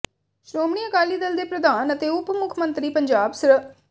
ਸ਼੍ਰੋਮਣੀ ਅਕਾਲੀ ਦਲ ਦੇ ਪ੍ਰਧਾਨ ਅਤੇ ਉੱਪ ਮੁੱਖ ਮੰਤਰੀ ਪੰਜਾਬ ਸ੍ਰ